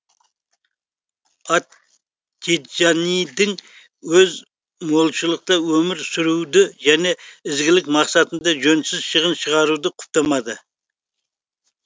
ат тиджанидің өз молшылықта өмір сүруді және ізгілік мақсатында жөнсіз шығын шығаруды құптамады